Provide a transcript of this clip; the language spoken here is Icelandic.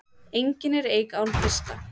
Engin er eik án kvista.